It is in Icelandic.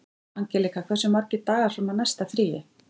Angelíka, hversu margir dagar fram að næsta fríi?